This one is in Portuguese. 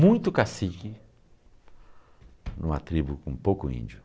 Muito cacique em uma tribo com pouco índio.